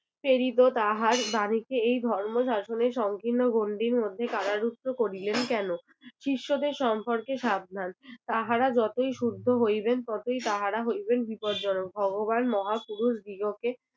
প্রেরিত তাহার বাণীকে এই ধর্ম শাসন সংকীর্ণ গণ্ডির মধ্যে কারারূদ্ধ করিলেন কেনো? শিষ্যদের সম্পর্কে সাবধান তাহার যতই শুদ্ধ হইবেন ততই তাহারা হইবেন বিপদজনক. ভগবান মহাপুরুষ দিগকে